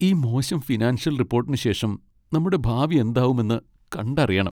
ഈ മോശം ഫിനാൻഷ്യൽ റിപ്പോട്ടിന് ശേഷം നമ്മുടെ ഭാവി എന്താവുമെന്ന് കണ്ടറിയണം.